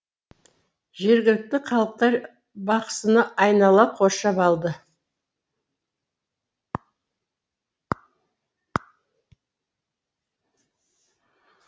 жергілікті халықтар бақсыны айнала қоршап алды